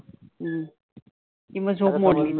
अं की मग झोप मोडली.